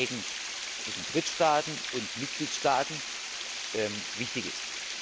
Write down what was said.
von Verträgen zwischen Drittstaaten und Mitgliedstaaten wichtig ist.